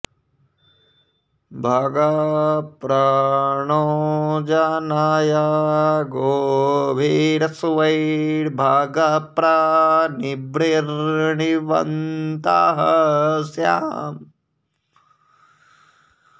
भग॒ प्र णो॑ जनय॒ गोभि॒रश्वै॒र्भग॒ प्र नृभि॑र्नृ॒वन्तः॑ स्याम